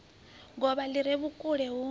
govha li re vhukule hu